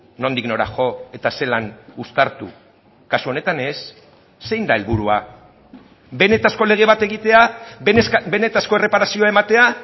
nondik nora jo eta zelan uztartu kasu honetan ez zein da helburua benetako lege bat egitea benetako erreparazioa ematea